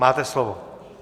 Máte slovo.